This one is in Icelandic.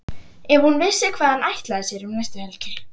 Ef hún vissi hvað hann ætlaði sér um næstu helgi!